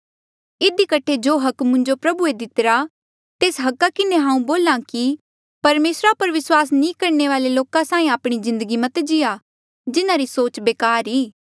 इधी कठे जो अधिकार मुंजो प्रभुए दितिरा तेस अधिकारा किन्हें हांऊँ बोल्हा कि परमेसरा पर विस्वास नी करणे वाले लोका साहीं आपणी जिन्दगी मत जीया जिन्हारी सोच बेकार ई